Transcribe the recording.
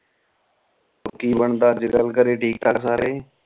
ਹੋਰ ਕਿ ਬਣਦਾ ਅਜੇ ਕਲ ਘਰੇ ਠੀਕ ਠਾਕ ਸਾਰੇ